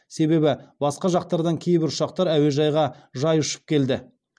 себебі басқа жақтардан кейбір ұшақтар әуежайға жай ұшып келді